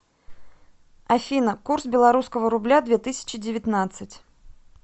афина курс белорусского рубля две тысячи девятнадцать